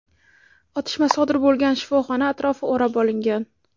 Otishma sodir bo‘lgan shifoxona atrofi o‘rab olingan.